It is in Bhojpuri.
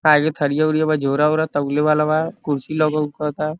काहे कि थरिया उरिया बा झोरा ओरा तौले वाला बा कुर्सी लगेउकता।